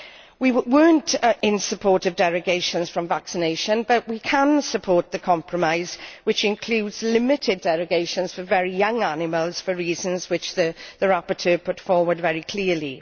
We did not support derogations from vaccination, but we can support the compromise which includes limited derogations for very young animals for reasons which the rapporteur put forward very clearly.